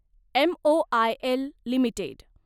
MOIL limited